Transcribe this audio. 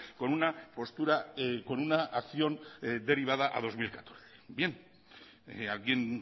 con una postura con una acción derivada a dos mil catorce bien alguien